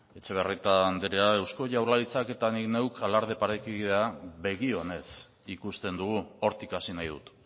etxebarrieta andrea eusko jaurlaritzak eta nik neuk alarde parekidea begionez ikusten dugu hortik hasi nahi dut